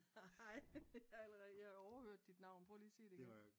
Haha hej jeg overhørte dit navn prøv lige at sige det igen